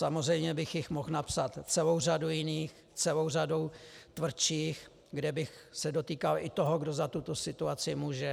Samozřejmě bych jich mohl napsat celou řadu jiných, celou řadu tvrdších, kde bych se dotýkal i toho, kdo za tuto situaci může.